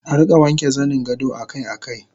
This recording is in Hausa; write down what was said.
Arika wanke zaningado akai akai